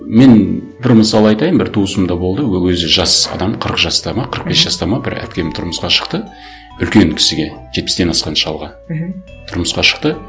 мен бір мысал айтайын бір туысым да болды ол өзі жас адам қырық жаста ма қырық бес жаста ма бір әпкем тұрмысқа шықты үлкен кісіге жетпістен асқан шалға мхм тұрмысқа шықты